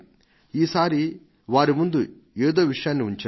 ఈసారి వారి ముందు ఏదో విషయాన్ని ఉంచాను